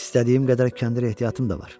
İstədiyim qədər kəndir ehtiyatım da var.